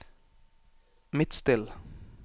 Midtstill